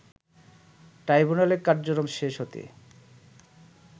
ট্রাইব্যুনালে কার্যক্রম শেষ হতে